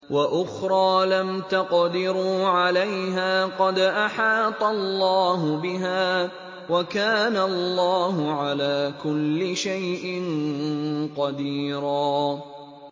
وَأُخْرَىٰ لَمْ تَقْدِرُوا عَلَيْهَا قَدْ أَحَاطَ اللَّهُ بِهَا ۚ وَكَانَ اللَّهُ عَلَىٰ كُلِّ شَيْءٍ قَدِيرًا